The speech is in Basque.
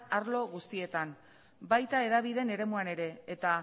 arlo guztietan baita hedabideen eremuan ere eta